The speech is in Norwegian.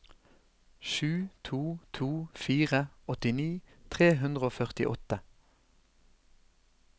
sju to to fire åttini tre hundre og førtiåtte